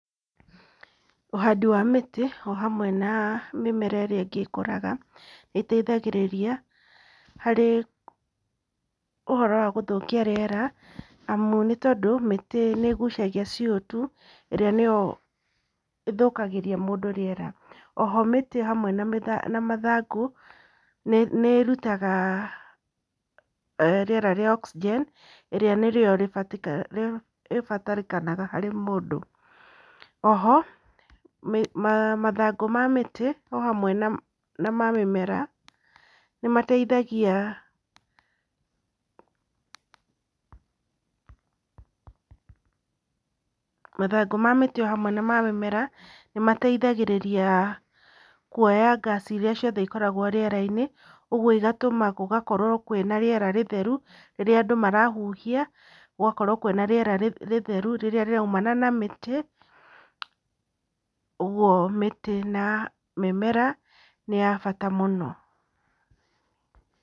Ũhandi wa mĩtĩ o hamwe na mĩmera ĩrĩa ĩngĩ ĩkũraga, nĩ ĩteithagĩrĩria harĩ ũhoro wa gũthũkia rĩera, amu nĩ tondũ mĩtĩ nĩ ĩgucagia CO2 ĩrĩa nĩyo ĩthũkagĩria mũndũ rĩera. Oho mĩtĩ hamwe na mathangũ nĩ ĩrutaga rĩera rĩa Oxygen ĩrĩa nĩrĩo rĩbatarĩkanaga harĩ mũndũ. Oho, mathangũ ma mĩtĩ o hamwe na ma mĩmera, nĩmateithagia pause mathangũ ma mĩtĩ o hamwe na ma mĩmera, nĩ mateithagĩrĩria kuoya ngaci iria ciothe ikoragwo rĩera-inĩ, ũguo igatũma gũgakorwo kwĩna rĩera rĩtheru rĩrĩa andũ marahuhia, gũgakorwo kwĩna rĩera rĩtheru rĩrĩa rĩraumana na mĩtĩ, ũguo mĩtĩ na mĩmera nĩ ya bata mũno.